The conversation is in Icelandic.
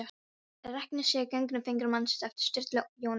Regnið séð gegnum fingur mannsins eftir Sturlu Jón Jónsson